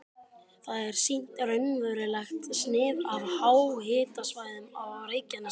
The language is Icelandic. Þar er sýnt raunverulegt snið af háhitasvæðunum á Reykjanesskaga.